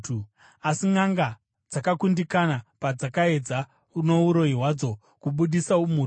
Asi nʼanga dzakakundikana, padzakaedza nouroyi hwadzo kubudisa umhutu.